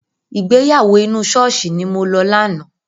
Ìgbéyàwó inú ṣọ́ọ̀ṣì ni mo lọ lánàá.